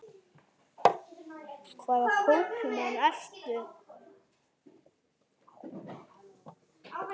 Hvaða Pokémon ertu?